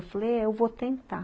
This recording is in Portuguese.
Eu falei, é, eu vou tentar.